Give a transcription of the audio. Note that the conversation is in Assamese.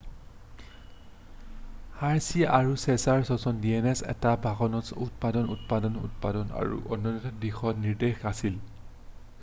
হাৰ্ছি আৰু চে'জৰ সম্পৰীক্ষা dns এটা বংশনিৰ্ণায়ক উপাদান তত্বটোৰ অন্যতম দিশ নিৰ্দেশক আছিল